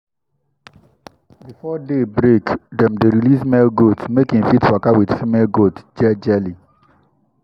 before day break dem dey release male goat make e fit waka with female goat jejely.